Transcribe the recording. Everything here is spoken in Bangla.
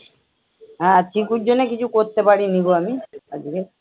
হ্যাঁ চিকুর জন্যে কিছু করতে পারি নি গো আমি আজকে।